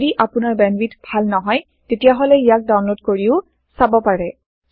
যদি আপোনাৰ বেন্দৱিথ ভাল নহয় তেতিয়াহলে ইয়াক ডাওনলোদ কৰিও চাব পাৰে